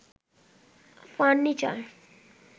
furniture